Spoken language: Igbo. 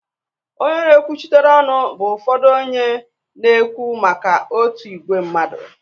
Onye na-ekwuchitere ọnụ bụ ụfọdụ onye na-ekwu maka otu ìgwè mmadụ